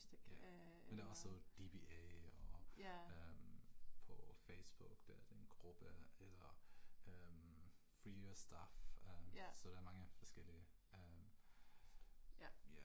Ja, men der er også DBA, og øh på Facebook dér den gruppe eller øh Free Your Stuff så der er mange forskellige øh ja